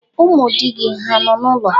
Ụmụ di gị hà nọ n'ụlọ?